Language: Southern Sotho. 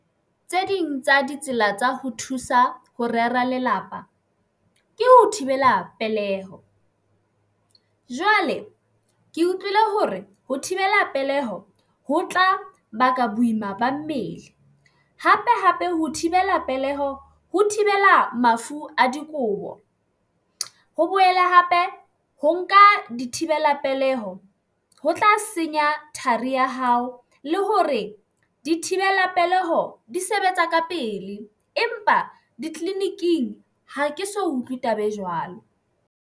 Tse ding tsa ditsela tsa ho thusa ho rera lelapa ke ho thibela peleho jwale ke utlwile hore ho thibela peleho ho tla baka boima ba mmele. Hape hape ho thibela peleho ho thibela mafu a dikobo, ho boele hape ho nka dithibela peleho ho tlase senya thari ya hao, le hore dithibela peleho di sebetsa ka pele. Empa ditleliniking ha ke so utlwe taba e jwalo,